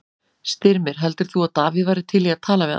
Styrmir, heldur þú að Davíð væri til í að tala við hann?